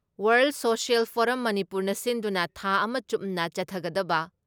world social forum ꯃꯅꯤꯄꯨꯔꯅ ꯁꯤꯟꯗꯨꯅ ꯊꯥ ꯑꯃ ꯆꯨꯞꯅ ꯆꯠꯊꯒꯗꯕ